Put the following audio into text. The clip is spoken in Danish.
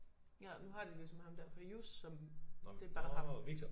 Ja nu har de ligesom ham der Prius som det bare ham